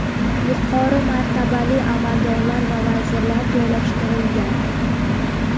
yuqori martabali amaldorlar va vazirlar joylashtirilgan.